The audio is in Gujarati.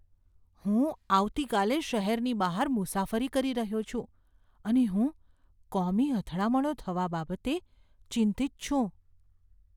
હું આવતીકાલે શહેરની બહાર મુસાફરી કરી રહ્યો છું અને હું કોમી અથડામણો થવા બાબતે ચિંતિત છું.